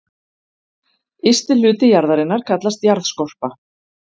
Ysti hluti jarðarinnar kallast jarðskorpa.